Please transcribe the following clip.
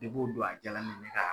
o don a jala ne ne kaa